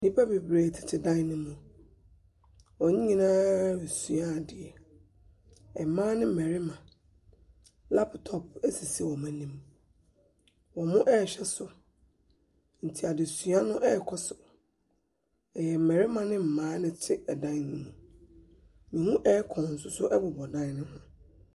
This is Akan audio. Nnipa bebree tete dan no mu. Wɔn nyinaa resua adeɛ. Mmaa ne mmarima. Laptop sisi wɔn anim. Wɔrehwɛ so nti adesua no rekɔ so.